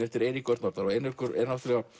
eftir Eirík Örn Norðdahl og Eiríkur er